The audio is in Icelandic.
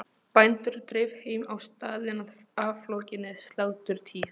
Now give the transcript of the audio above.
Bændur dreif heim á staðinn að aflokinni sláturtíð.